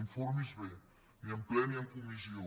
informi se’n bé ni en ple ni en comissió